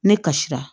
Ne kasira